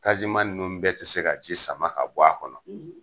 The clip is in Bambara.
Tajiman nunnu bɛɛ ti se ka ji sama ka bɔ a kɔnɔ